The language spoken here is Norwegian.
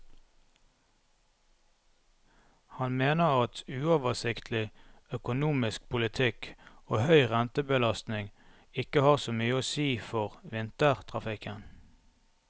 Han mener at uoversiktlig, økonomisk politikk og høy rentebelastning ikke har så mye å si for vintertrafikken.